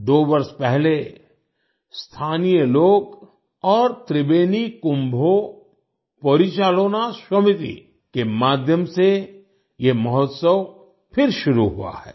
दो वर्ष पहले स्थानीय लोग और त्रिबेनी कुंभो पॉरिचालोना शॉमिति के माध्यम से ये महोत्सव फिर शुरू हुआ है